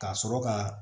Ka sɔrɔ ka